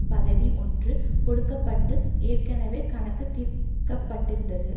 பதவி ஒன்று கொடுக்க பட்டு ஏற்கனவே கணக்கு தீர்க்கப்பட்டிருந்தது